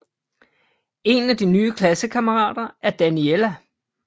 En af de nye klassekammerater er Daniela